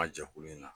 A jɛkulu in na